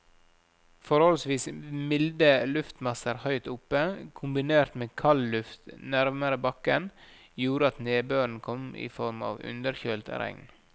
Forholdsvis milde luftmasser høyt oppe, kombinert med kaldluft nærmere bakken, gjorde at nedbøren kom i form av underkjølt regn.